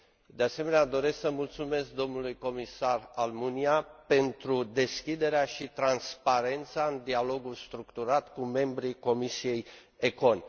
De asemenea, doresc să mulțumesc dlui Comisar Almunia pentru deschiderea și transparența în dialogul structurat cu membrii comisiei ECON.